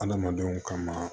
Adamadenw ka ma